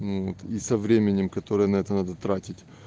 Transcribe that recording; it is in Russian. вот и со временем которое на это надо тратить